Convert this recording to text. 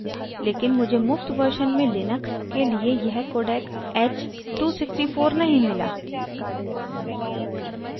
लेकिन मुझे मुफ़्त version में लिनक्स के लिए यह codec h 264 नहीं मिला